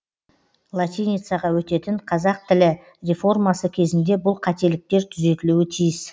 латиницаға өтетін қазақ тілі реформасы кезінде бұл қателіктер түзетілуі тиіс